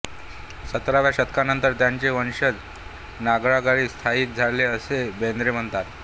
सतराव्या शतकानंतर त्यांचे वंशज नागरगाळी स्थायिक झाले असे बेन्द्रे म्हणतात